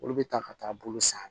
Olu bɛ taa ka taa bolo san